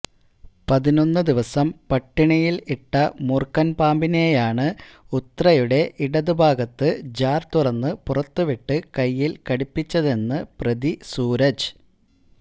പതിനൊന്ന് ദിവസം പട്ടിണിയിൽ ഇട്ട മൂർഖൻ പാമ്പിനെയാണ് ഉത്രയുടെ ഇടതു ഭാഗത്ത് ജാർതുറന്ന് പുറത്തുവിട്ട് കയ്യിൽ കടിപ്പിച്ചതെന്ന് പ്രതി സൂരജ്